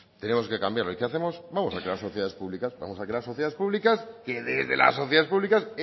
tenemos que cambiarlo y qué hacemos vamos a crear sociedades públicas vamos a crear sociedades públicas que desde las sociedades públicas